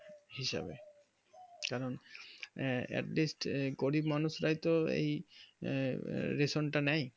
হিসাবে কারণ আঃ এক দিক গরিব মানুষ রায় তো এই রেশম তা নেই